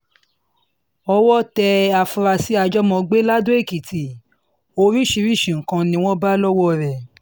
owó tẹ àfúráṣí àjọmọ̀gbé ladọ-èkìtì oríṣiríṣii nǹkan ni wọ́n bá lọ́wọ́ rẹ̀